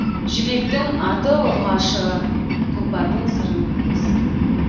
жібектің аты ұрғашы тұлпардың сырын білесің